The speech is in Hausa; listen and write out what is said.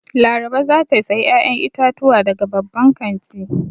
Laraba za ta sayi 'ya'yan itatuwa daga babban kanti.